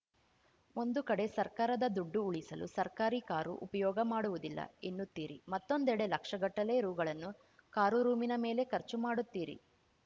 ಒಂದು ಕಡೆ ಸರ್ಕಾರದ ದುಡ್ಡು ಉಳಿಸಲು ಸರ್ಕಾರಿ ಕಾರು ಉಪಯೋಗ ಮಾಡುವುದಿಲ್ಲ ಎನ್ನುತ್ತೀರಿ ಮತ್ತೊಂದೆಡೆ ಲಕ್ಷಗಟ್ಟಲೆ ರುಗಳನ್ನು ಕಾರು ರೂಮಿನ ಮೇಲೆ ಖರ್ಚು ಮಾಡುತ್ತೀರಿ